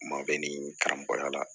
Maa bɛ ni karamɔgɔya la